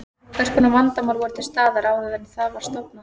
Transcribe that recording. Hvers konar vandamál voru til staðar áður en það var stofnað?